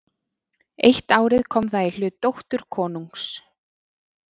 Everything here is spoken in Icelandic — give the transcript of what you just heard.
Eitt árið kom það í hlut dóttur konungs.